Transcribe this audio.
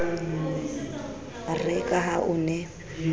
re ka ha o ne